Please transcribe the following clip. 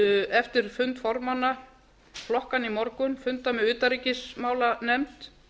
eftir fund formanna flokkanna í morgun funda með utanríkismálanefnd